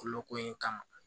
Kolo ko in kama